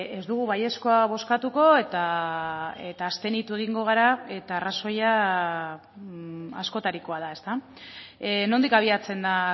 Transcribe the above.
ez dugu baiezkoa bozkatuko eta abstenitu egingo gara eta arrazoia askotarikoa da ezta nondik abiatzen da